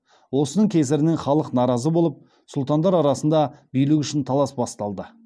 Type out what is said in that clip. осының кесірінен халық наразы болып сұлтандар арасында билік үшін талас басталды